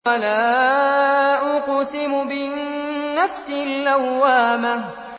وَلَا أُقْسِمُ بِالنَّفْسِ اللَّوَّامَةِ